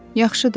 Yaxşıdır.